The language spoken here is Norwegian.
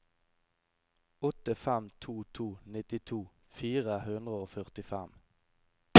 åtte fem to to nittito fire hundre og førtifem